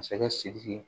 Masakɛ sidiki